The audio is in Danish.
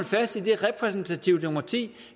fast i det repræsentative demokrati